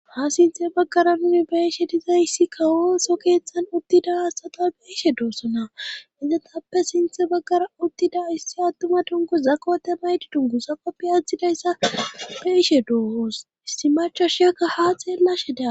ha sinthe baggara nuni beeshe dizayssi kawoso keeththan uttida hasata beishe doossona izatappe sinthe baggara uttida issi attuma dungu zakote maydi dungusa qoppi atzthidayssa beeshe doohoos issi machashiakka ha xeellashe daa